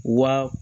Wa